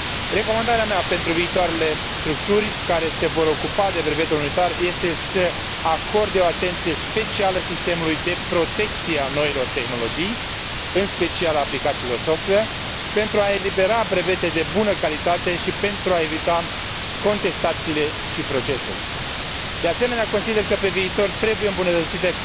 Recomandarea mea pentru viitoarele structuri care se vor ocupa de brevetul unitar este să acorde o atenție specială sistemului de protecție a noilor tehnologii, în special a aplicațiilor software, pentru a elibera brevete de bună calitate și pentru a evita contestațiile și procesele. De asemenea, consider că, pe viitor, trebuie îmbunătățită